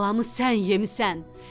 Balamı sən yemisen.